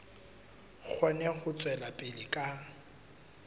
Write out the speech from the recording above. kgone ho tswela pele ka